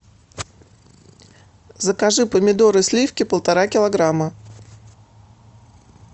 закажи помидоры сливки полтора килограмма